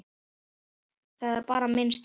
Það er bara minn stíll.